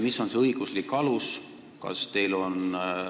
Mis on see õiguslik alus?